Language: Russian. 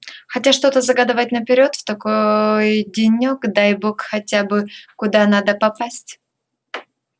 хотя что загадывать наперёд в такой денёк дай бог хотя бы куда надо попасть